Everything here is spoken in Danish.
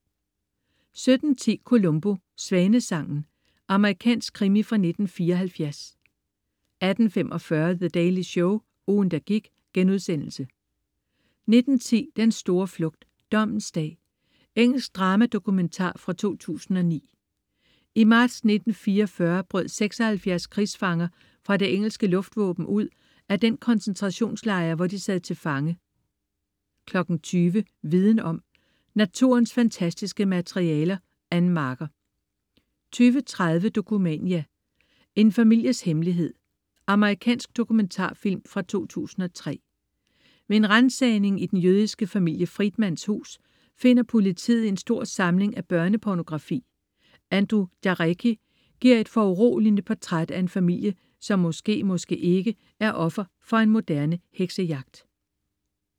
17.10 Columbo: Svanesangen. Amerikansk krimi fra 1974 18.45 The Daily Show, ugen, der gik* 19.10 Den store flugt. Dommens dag. Engelsk drama-dokumentar fra 2009. I marts 1944 brød 76 krigsfanger fra det engelske luftvåben ud af den koncentrationslejr, hvor de sad til fange 20.00 Viden om. Naturens fantastiske materialer. Ann Marker 20.30 Dokumania: En families hemmelighed. Amerikansk dokumentarfilm fra 2003. Ved en ransagning i den jødiske familie Friedmans hus finder politiet en stor samling af børnepornografi. Andrew Jarecki giver et foruroligende portræt af en familie, som måske, måske ikke, er offer for en moderne heksejagt